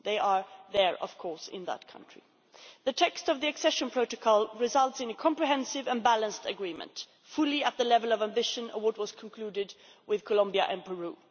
They are there, of course, in that country. The text of the accession protocol results in a comprehensive and balanced agreement, fully matching the ambition reflected in what was concluded with Colombia and Peru.